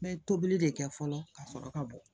N bɛ tobili de kɛ fɔlɔ ka sɔrɔ ka bɔ